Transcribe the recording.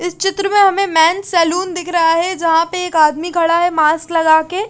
इस चित्र मे हमे मॅन सलून दिख रहा है जहां पे एक आदमी खड़ा है मास्क लगा के।